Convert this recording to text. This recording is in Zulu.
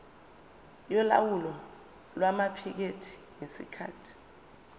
yolawulo lwamaphikethi ngesikhathi